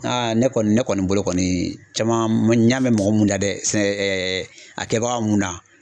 ne kɔni ne kɔni bolo kɔni caman n ɲ'a mɛn mɔgɔ mun na dɛ a kɛbaga mun na.